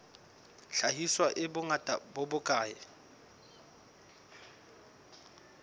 hlahiswa e bongata bo bokae